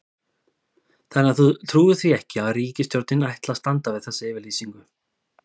Þannig að þú trúir því ekki að ríkisstjórnin ætli að standa við þessa yfirlýsingu?